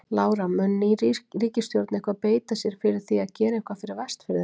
Lára: Mun ný ríkisstjórn eitthvað beita sér fyrir því að gera eitthvað fyrir Vestfirðina?